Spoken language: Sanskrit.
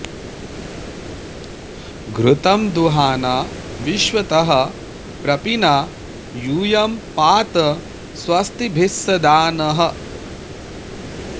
घृ॒तं दुहा॑ना वि॒श्वतः॒ प्रपी॑ना यू॒यं पा॑त स्व॒स्तिभि॒स्सदा॑ नः